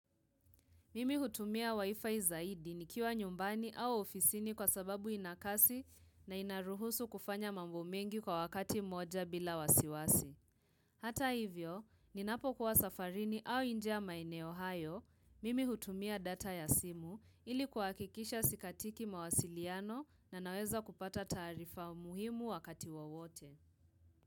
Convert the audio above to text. Mimi hutumia waifai zaidi nikiwa nyumbani au ofisini kwa sababu inakasi na inaruhusu kufanya mambo mengi kwa wakati moja bila wasiwasi. Hata hivyo, ninapo kuwa safarini au inja maeneo hayo, mimi hutumia data ya simu ilikuwa kikisha sikatiki mawasiliano na naweza kupata tarifa umuhimu wakati wawote.